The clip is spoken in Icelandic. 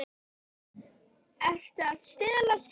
Ertu að stelast að heiman?